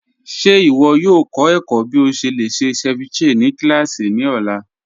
Ṣe iwọ yoo kọ ẹkọ̀ bí o ṣe lè ṣe ceviche ni kílásí ni ọ̀la?